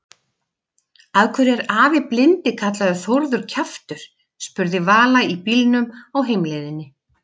Af hverju er afi blindi kallaður Þórður kjaftur? spurði Vala í bílnum á heimleiðinni.